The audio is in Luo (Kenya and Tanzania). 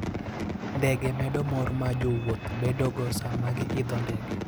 Ndege medo mor ma jowuoth bedogo sama giidho ndege.